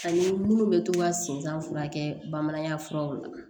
Ani minnu bɛ to ka sen kan furakɛ bamananya furaw la